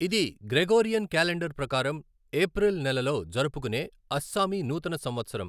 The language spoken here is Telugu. ఇది గ్రెగోరియన్ క్యాలెండర్ ప్రకారం ఏప్రిల్ నెలలో జరుపుకునే అస్సామీ నూతన సంవత్సరం.